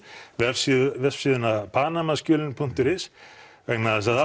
vefsíðuna vefsíðuna punktur is vegna þess að